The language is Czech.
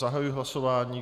Zahajuji hlasování.